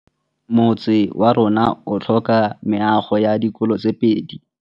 Motse warona o tlhoka meago ya dikolô tse pedi.